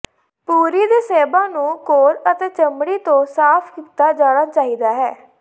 ਪੁਰੀ ਦੇ ਸੇਬਾਂ ਨੂੰ ਕੋਰ ਅਤੇ ਚਮੜੀ ਤੋਂ ਸਾਫ਼ ਕੀਤਾ ਜਾਣਾ ਚਾਹੀਦਾ ਹੈ